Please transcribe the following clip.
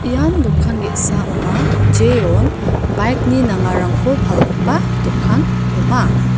ian dokan ge·sa ong·a jeon bike-ni nangkarangko palgipa dokan ong·a.